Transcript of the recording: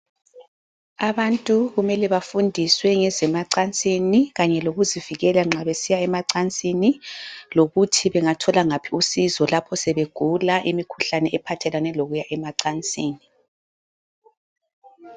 Abantu kumele bafundiswe ngezemacansini kanye lokuzivikela nxa besiya emacansini lokuthi bengathola ngaphi usizo lapho sebegula imkhuhlane ephathelane lokuya emacansini.